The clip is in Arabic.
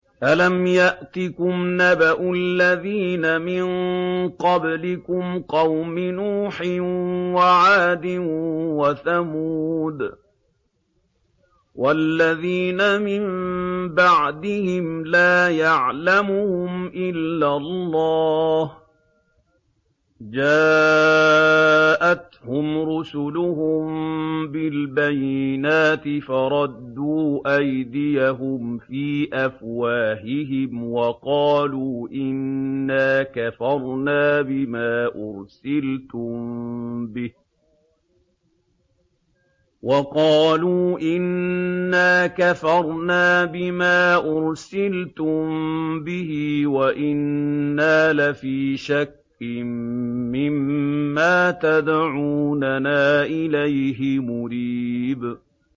أَلَمْ يَأْتِكُمْ نَبَأُ الَّذِينَ مِن قَبْلِكُمْ قَوْمِ نُوحٍ وَعَادٍ وَثَمُودَ ۛ وَالَّذِينَ مِن بَعْدِهِمْ ۛ لَا يَعْلَمُهُمْ إِلَّا اللَّهُ ۚ جَاءَتْهُمْ رُسُلُهُم بِالْبَيِّنَاتِ فَرَدُّوا أَيْدِيَهُمْ فِي أَفْوَاهِهِمْ وَقَالُوا إِنَّا كَفَرْنَا بِمَا أُرْسِلْتُم بِهِ وَإِنَّا لَفِي شَكٍّ مِّمَّا تَدْعُونَنَا إِلَيْهِ مُرِيبٍ